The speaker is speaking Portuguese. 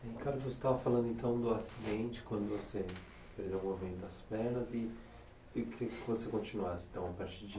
Ricardo, você estava falando do acidente, quando você perdeu o movimento das pernas e queria que você continuasse então a partir de